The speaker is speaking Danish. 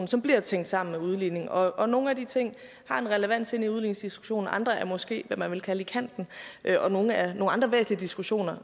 som bliver tænkt sammen med udligning og og nogle af de ting har en relevans inde i udligningsdiskussionen andre er måske hvad man vil kalde i kanten og nogle er nogle andre væsentlige diskussioner